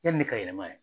Yanni ne ka yɛlɛma yan